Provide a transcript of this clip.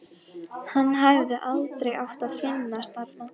Hann hefði aldrei átt að finnast þarna.